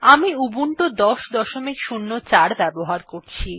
আমি উবুন্টু ১০০৪ ব্যবহার করছি